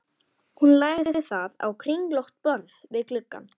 Hún lagði það á kringlótt borð við gluggann.